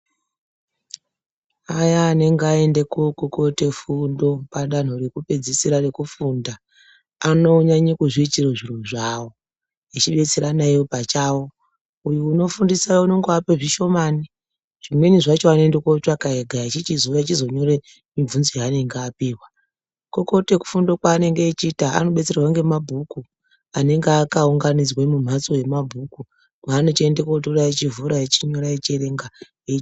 Aya ananga aende kookokote fundo padanho rekupedzisira rekufunda anonyanya kuzviitire zviro zvawo echibetserana iwo pachawo uyu unofundisa unondoape zvishomani zvimweni zvacho anoende kotsvaka ega echichizouya echizonyora mibvunzo yaanenge apihwa kukokote fundo kwaanenge achiita anobetserwa ngemabhuku anenge akaunganidzwa mumhatso yemabhuku kwanochienda kotora eivhura ,einyora, eierenga.